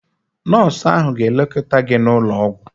Nọọsụ ahụ ga-lekọta gị n'ụlọ ọgwụ.